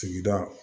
Sigida